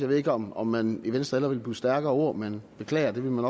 ved ikke om om man i venstre hellere ville bruge stærkere ord men beklager ville man